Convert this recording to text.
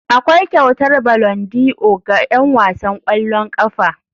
Akwai kyautar ballondi'or ga 'yan wasan ƙwallon ƙafa.